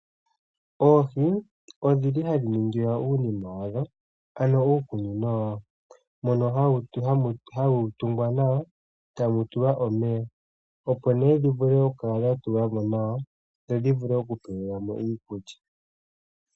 Oohi ohadhi ningilwa uunima wadho ano uukunino wadho mbono hawu tungwa nawa e tamu tulwa omeya, opo dhi vule okutulwa mo nawa dho dhi vule okutulilwa mo iikulya.